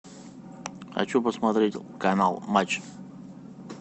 хочу посмотреть канал матч